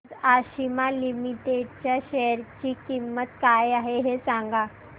आज आशिमा लिमिटेड च्या शेअर ची किंमत काय आहे हे सांगा